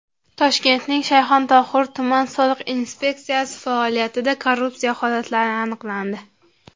Toshkentning Shayxontohur tuman soliq inspeksiyasi faoliyatida korrupsiya holatlari aniqlandi.